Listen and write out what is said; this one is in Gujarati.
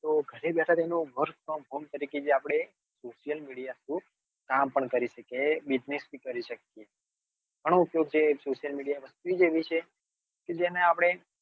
ઘણો ઉપયોગ જે social media ચીજ જ એવી છે તો ગરે બેઠા તેનો work frome home તરીકે આપડે કામ પણ કરી શકીએ business પણ કરી શકીએ ઘણો ઉપયોગ social media નો એવી છે કે જેને આપણે